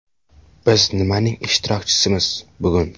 Biz nimaning ishtirokchisimiz bugun.